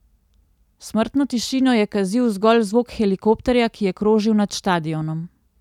Smrtno tišino je kazil zgolj zvok helikopterja, ki je krožil nad štadionom.